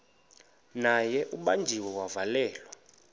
naye ubanjiwe wavalelwa